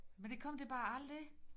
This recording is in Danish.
Men det kom det bare aldrig